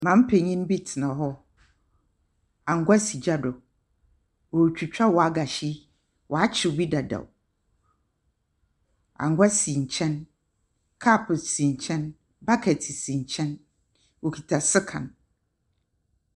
Maame panyin bi tsena hɔ, angoa si gya do. Ɔretwitwa wagahyi. Ɔakyew bi dadaw. Angoa si nkyɛn, cup si nkyɛn, bucket si nkyɛn. Okita sekan.